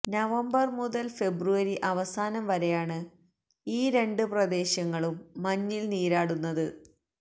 November മുതല് February അവസാനം വരെയാണ് ഈ രണ്ട് പ്രദേശങ്ങളും മഞ്ഞില് നീരാടുന്നത്